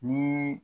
Ni